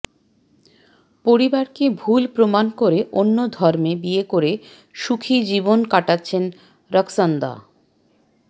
পরিবারকে ভুল প্রমাণ করে অন্য ধর্মে বিয়ে করে সুখী জীবন কাটাচ্ছেন রক্সন্দা